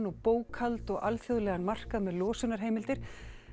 og bókhald og alþjóðlegan markað með losunarheimildir